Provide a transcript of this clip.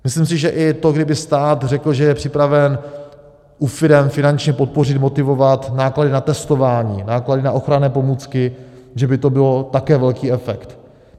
Myslím si, že i to, kdyby stát řekl, že je připraven u firem finančně podpořit, motivovat náklady na testování, náklady na ochranné pomůcky, že by to mělo také velký efekt.